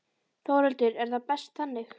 Þórhildur: Er það best þannig?